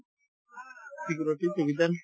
security provision